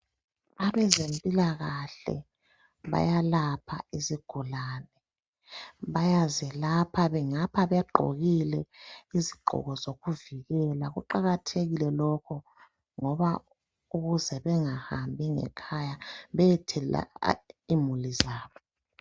Abezempilakahle bayalapha izigulane. Bayazelapha ngapha begqokile izigqoko zokuvikela. Kuqakathekile lokhu ukuze bengahambi ngekhaya beyethelela imuli zabo.